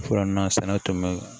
Fɔlɔ na sɛnɛ tun bɛ